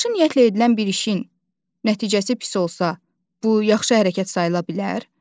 Yaxşı niyyətlə edilən bir işin nəticəsi pis olsa, bu yaxşı hərəkət sayıla bilər?